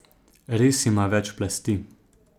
Res ima več plasti.